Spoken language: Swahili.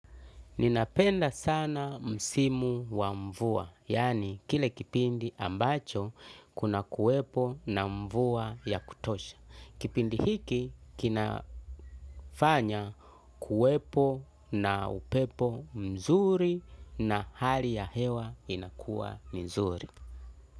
Ninapenda sana msimu wa mvua, yani kile kipindi ambacho kuna kuwepo na mvua ya kutosha. Kipindi hiki kinafanya kuwepo na upepo mzuri na hali ya hewa inakuwa nzuri.